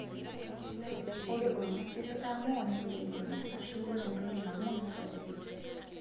Ore olngusil litamoo neibelekenya, aashu ore entoki nang'u nerropilu.